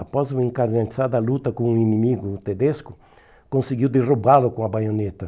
Após uma encarnizada luta com um inimigo tedesco, conseguiu derrubá-lo com a baioneta.